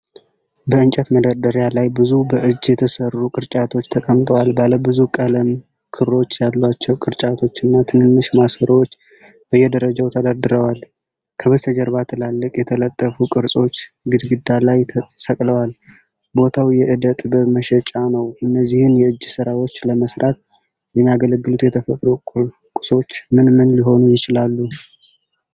በእንጨት መደርደሪያ ላይብዙ በእጅ የተሰሩ ቅርጫቶች ተቀምጠዋል። ባለብዙ ቀለም ክሮች ያሏቸው ቅርጫቶችና ትንንሽ ማሰሮዎች በየደረጃው ተደርድረዋል። ከበስተጀርባ ትላልቅ የተጠለፉ ቅርጾች ግድግዳ ላይ ተሰቅለዋል። ቦታው የዕደ ጥበብ መሸጫ ነው። እነዚህን የእጅ ሥራዎች ለመሥራት የሚያገለግሉት የተፈጥሮ ቁሶች ምን ምን ሊሆኑ ይችላሉ?